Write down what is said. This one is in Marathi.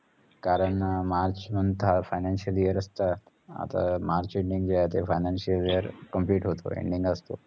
कारण मार्च म्हणता financial year असत आता मार्च ending जे आहे ते financial year complete होते.